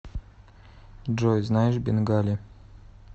джой знаешь бенгали